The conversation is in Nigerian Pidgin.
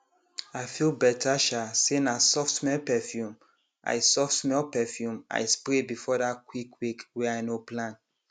i feel better um say na softsmell perfume i softsmell perfume i spray before that quick wake way i no plan